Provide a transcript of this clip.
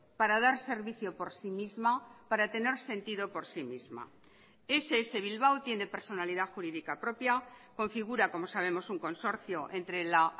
para dar servicio por sí misma para tener sentido por sí misma ess bilbao tiene personalidad jurídica propia configura como sabemos un consorcio entre la